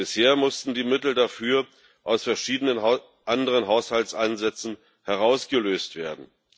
Bisher mussten die Mittel dafür aus verschiedenen anderen Haushaltsansätzen herausgelöst werden.